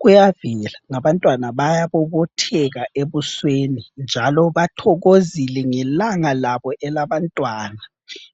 Kuyavela, ngabantwana bayabobotheka ebusweni njalo bathokozile ngelanga labo elabantwana